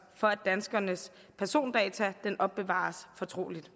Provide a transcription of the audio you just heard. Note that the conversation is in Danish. for at danskernes persondata opbevares fortroligt